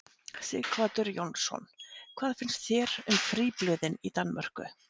Sighvatur Jónsson: Hvað finnst þér um fríblöðin í Danmörku?